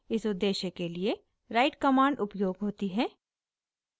इस उद्देश्य के लिए write कमांड उपयोग होती है